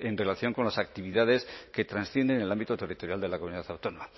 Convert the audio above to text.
en relación con las actividades que trascienden en el ámbito territorial de la comunidad autónoma